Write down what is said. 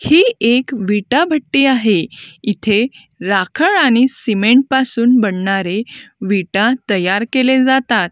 ही एक विटा भट्टी आहे इथे राखळ आणि सिमेंट पासून बनणारे विटा तयार केले जातात.